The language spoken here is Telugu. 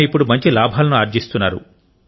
ఆయన ఇప్పుడు మంచి లాభాలను ఆర్జిస్తున్నారు